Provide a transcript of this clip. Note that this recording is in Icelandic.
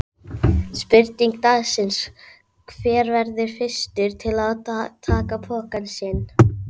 Spurning dagsins: Hver verður fyrstur til að taka pokann sinn?